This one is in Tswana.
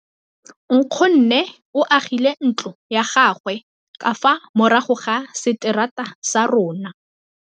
Nkgonne o agile ntlo ya gagwe ka fa morago ga seterata sa rona.